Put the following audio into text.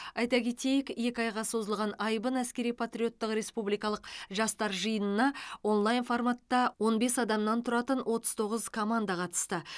айта кетейік екі айға созылған айбын әскери патриоттық республикалық жастар жиынына онлайн форматта он бес адамнан тұратын отыз тоғыз команда қатысты